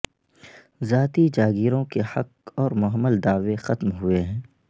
ذاتی جاگیروں کے حق اور مہمل دعوے ختم ہوئے ہیں